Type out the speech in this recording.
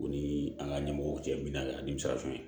U ni an ka ɲɛmɔgɔw cɛ mina nimisa tɛ